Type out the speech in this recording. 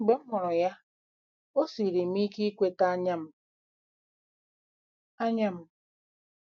Mgbe m hụrụ ya, o siiri m ike ikweta anya m. anya m.